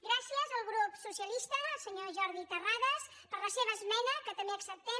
gràcies al grup socialista senyor jordi terrades per la seva esmena que també acceptem